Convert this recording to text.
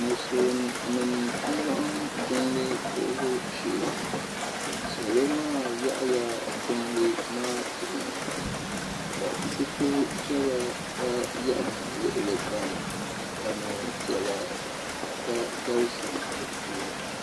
Musulin nima n laɣim jiŋli puhibu shee salo maa taɣaya jiŋli maa puuni ka zipilpiɛla gba yam luɣuli kam ka niɛn'piɛla gba galisi dipuuni.